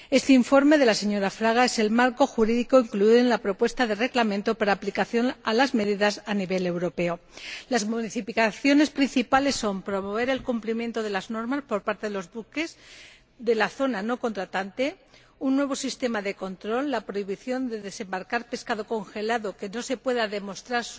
Este informe de la señora Fraga es el marco jurídico incluido en la propuesta de Reglamento para aplicación a las medidas a nivel europeo. Las modificaciones principales son promover el cumplimiento de las normas por parte de los buques de la zona no contratante, un nuevo sistema de control, la prohibición de desembarcar pescado congelado cuya legalidad no se pueda demostrar,